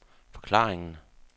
forklaringen